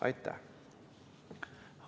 Aitäh!